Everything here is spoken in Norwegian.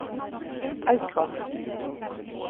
Aukra